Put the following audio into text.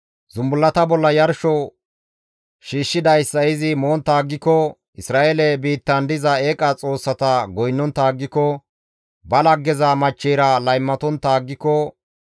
zumbullata bolla yarsho shiishshidayssa izi montta aggiko, Isra7eele biittan diza eeqa xoossata goynnontta aggiko, ba laggeza machcheyra laymatontta aggiko,